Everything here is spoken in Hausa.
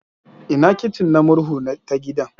Ina kicin na murhu ta gidan?